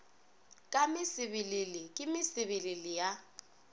ka mesebelele ke mesebelele ya